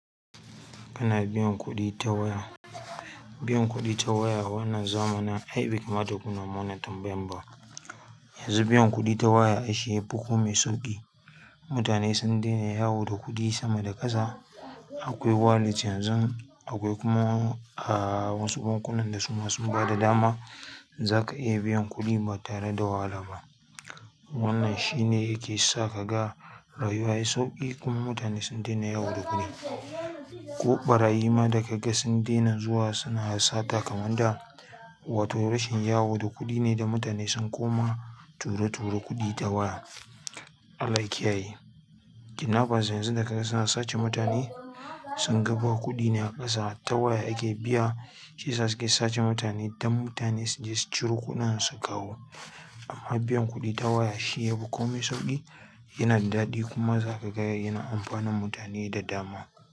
Kana biyan kuɗi ta waya? Biyan kuɗi ta waya wannan zamanin, ai bai kamata kuna mun wannan tambayar ba. Yanzu biyan kuɗi ta waya shi ya fi kome sauƙi. Mutane sun dena yawo da kuɗi sama da ƙasa. Akwai wallet yanzu akwai kuma a wasu bankunan da suma sun ba da dama. Zaka iya biyan kuɗi ba tare da wahalaba. Wannan shi ne yake sa kaga rayuwa yai sauƙi kuma mutane sun dena yawo da kuɗi. Ko ɓarayi ma daga ga sun dena zuwa suna sata kamar da, wato rashin yawo da kuɗi ne da mutane sun koma ture-ture kuɗi ta waya. Allah ya kiyaye. Kidnappers yanzu daga ga suna sace mutane, sun ga ba kuɗi ne a ƙasa, ta waya ake biya shi ya sa suke sace mutane don mutane su je su ciro kuɗin su kawo. Amma biyan kuɗi ta waya shi yafi komai sauƙi, yana da daɗi kuma zaka ga yana amfanar mutane da dama.